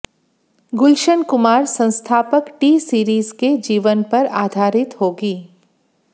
गुलशन कुमार संस्थापक T series के जीवन पर आधारित होगी